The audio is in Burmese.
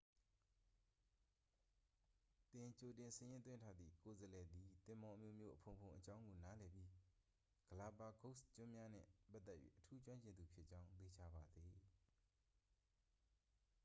သင်ကြိုတင်စာရင်းသွင်းထားသည့် ကိုယ်စားလှယ်သည် သင်္ဘောအမျိုးမျိုးအဖုံဖုံအ‌ကြောင်းကို နားလည်ပြီး ဂလာပါဂိုစ်ကျွန်းများနှင့် ပတ်သက်၍ အထူးကျွမ်းကျင်သူဖြစ်ကြောင်း သေချာပါစေ။